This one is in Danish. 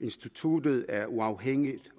instituttet er uafhængigt